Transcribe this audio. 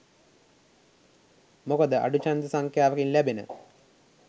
මොකද අඩු ඡන්ද සංඛ්‍යාවකින් ලැබෙන